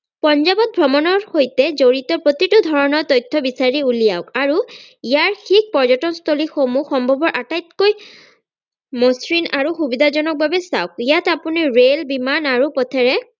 পঞ্জাৱত ভ্ৰমনৰ সৈতে জড়িত প্ৰতিটো ধৰণৰ তথ্য বিচাৰি উলিয়াওক আৰু ইয়াৰ সেই পৰ্যতনস্থলীসমূহ সম্ভৱপৰ আটাইতকৈ মশ্ৰিন আৰু সুবিধাজনক ভাৱে চাওক ইয়াত আপুনি ৰেল বিমান আৰু পথেৰে